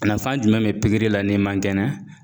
Nafan jumɛn be pikiri la n'i man kɛnɛ ?